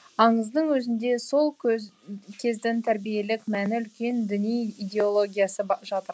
аңыздың өзінде сол кездің тәрбиелік мәні үлкен діни идеологиясы жатыр